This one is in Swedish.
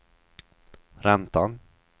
räntan